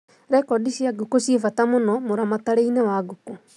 Rekondi cia ngũkũ ciĩ bata mũno mũramatĩre-inĩ wa ngũkũ.